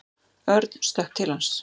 Örn stökk til hans.